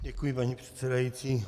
Děkuji, paní předsedající.